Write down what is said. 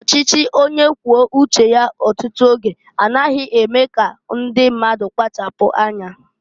Ọchịchị onye kwuo uche ya ọtụtụ oge a naghi eme ka ndị mmadụ kpachapụ anya.